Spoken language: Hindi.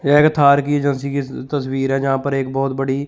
एक थार की एजेंसी तस्वीर जहां पर एक बहोत बड़ी--